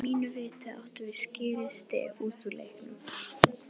Að mínu viti áttum við skilið stig út úr leiknum.